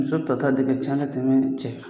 Muso tata de ka ca ka tɛmɛ cɛ kan